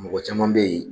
Mɔgɔ caman bɛ yen